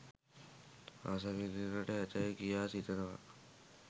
රසවිඳින්නට ඇතැයි කියා සිතනවා